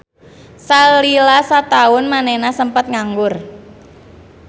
Salila sataun manehna sempet nganggur.